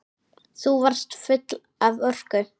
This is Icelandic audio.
Þú varst full af orku.